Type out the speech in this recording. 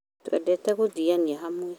twendete gũthiania hamwe